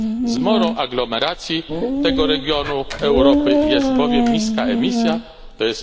Zmorą aglomeracji tego regionu Europy jest bowiem niska emisja, tj.